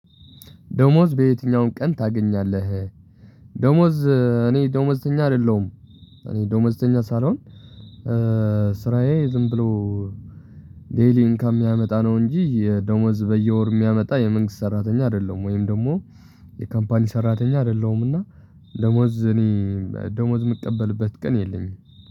ደመወዝ በየትኛው ቀን ታገኛለህ? ደመወዝ እኔ ደመዝተኛ አደለሁም። ስራዬ ዝም ብሎ ዴሊ ኢንካም የሚያመጣ ነው እንጂ የደሞዝ በየወር የሚያመጣ የመንግስት ሰራተኛ አይደለም። ወይም ደግሞ የካምፓኒ ሰራተኛ አይደለምና። ደሞዝ እኔ ደሞዝ የምቀበልበት ቀን የለኝም።